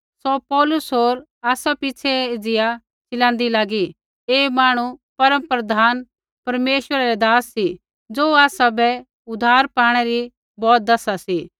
सौ पौलुस होर आसा पिछ़ै एज़िया चिलाँदी लागी कि ऐ मांहणु परमप्रधान परमेश्वरै रै दास सी ज़ो आसाबै उद्धार पाणै री बौत दैसा सी